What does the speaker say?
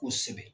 Kosɛbɛ